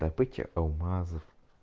добыча алмазов